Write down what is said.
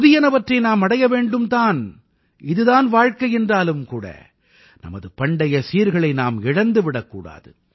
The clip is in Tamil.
புதியனவற்றை நாம் அடைய வேண்டும் தான் இது தான் வாழ்க்கை என்றாலும் கூட நமது பண்டைய சீர்களை நாம் இழந்துவிடக் கூடாது